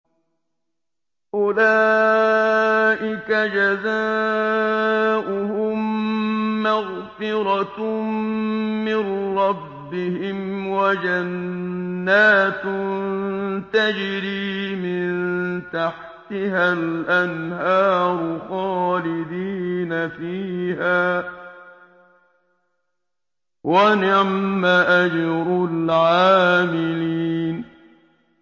أُولَٰئِكَ جَزَاؤُهُم مَّغْفِرَةٌ مِّن رَّبِّهِمْ وَجَنَّاتٌ تَجْرِي مِن تَحْتِهَا الْأَنْهَارُ خَالِدِينَ فِيهَا ۚ وَنِعْمَ أَجْرُ الْعَامِلِينَ